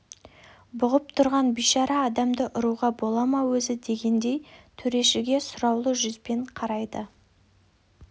бұғып тұрған бейшара адамды ұруға бола ма өзі дегендей төрешіге сұраулы жүзбен қарайды